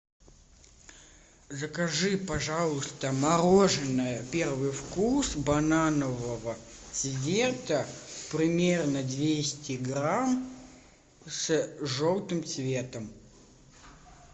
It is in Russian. закажи пожалуйста мороженое первый вкус бананового цвета примерно двести грамм с желтым цветом